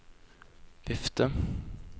vifte